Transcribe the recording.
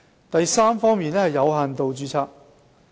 第三，有限度註冊。